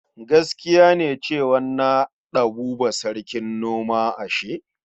Giskiya ne cew an naɗa Buba sarkin noma ashe?